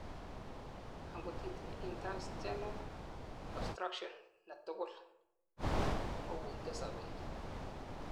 angot itinyei intestinal obstruction netugul, kowuite sobet